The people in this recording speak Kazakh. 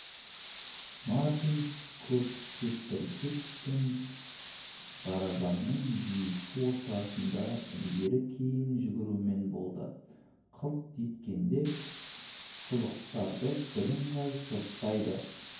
мартин кептіргіш пен барабанның екі ортасында ілгері-кейін жүгірумен болды қылт еткенде шұлықтарды бірыңғай сұрыптайды